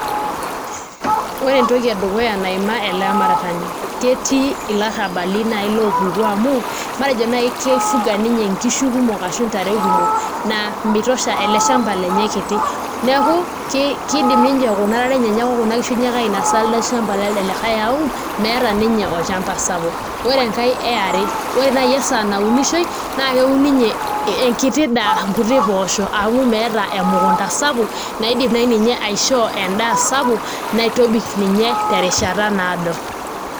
Ore entoki edukuya naimaa ele aramatani ketii ilarrabali naai loopuku amu matejo naai kifuga ninye nkishu kumok ashu ntare kumok naa mitosha ele shamba lenye kiti neeku kiidim ninche kuna tare enyenak ashu kuna tare enyenak ainasa elde shamba lelde likai amu meeta ninye olchamba sapuk, ore enkae e are ore ake esaa naunishoi naa keun niinye enkiti daa, nkuti poosho amu meeta emukunda sapuk naidim naai ninye aishoo endaa sapuk naitobik ninye terishata naado.